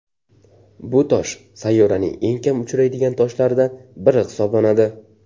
Bu tosh sayyoraning eng kam uchraydigan toshlaridan biri hisoblanadi.